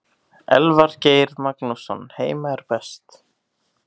Elvar Geir Magnússon Heima er best.